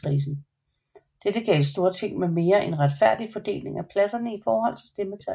Dette gav et Storting med en mere retfærdig fordeling af pladserne i forhold til stemmetallene